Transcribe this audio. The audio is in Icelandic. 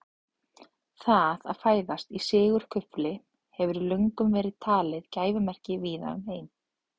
Það að fæðast í sigurkufli hefur löngum verið talið gæfumerki víða um heim.